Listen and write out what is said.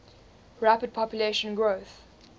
rapid population growth